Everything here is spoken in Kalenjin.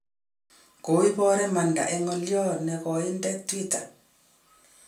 Koiboor imandat en ngoliot neng'oindet Twitter.